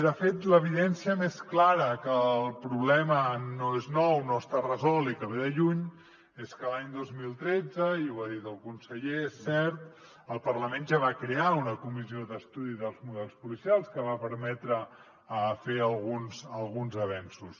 de fet l’evidència més clara que el problema no és nou no està resolt i que ve de lluny és que l’any dos mil tretze i ho ha dit el conseller és cert el parlament ja va crear una comissió d’estudi dels models policials que va permetre fer alguns avenços